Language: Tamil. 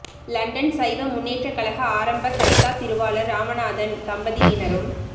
இலண்டன் சைவ முன்னேற்ற கழக ஆரம்ப கர்த்தா திருவாளர் இராமநாதன் தம்பதியினரும்